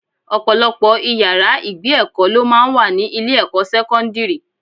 Ọ̀pọ̀lọpọ̀ ìyára ìgbé èkó lọ máa ń wà ní ilé ẹ̀kọ́ sẹ́kọ́ńdírì.